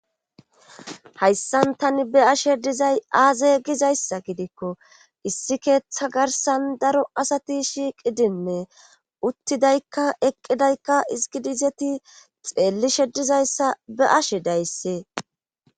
hayssan tani be ashe dizay aaze gizayssa gidikko issi keeththa garsan daro asati shiiqidinne uttidaykka eqqidaykka izgidizeti xeellishe dizayssa be ashe dayssee